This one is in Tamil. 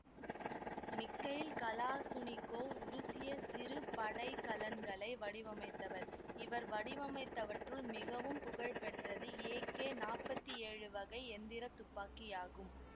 மிக்கைல் கலாசுனிக்கோவ் உருசிய சிறு படைக்கலன்களை வடிவமைத்தவர் இவர் வடிவமைத்தவற்றுள் மிகவும் புகழ்பெற்றது ஏ கே நாப்பத்தி ஏழு வகை எந்திரத் துப்பாக்கியாகும்